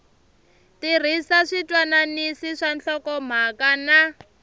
tirhisa switwananisi swa nhlokomhaka na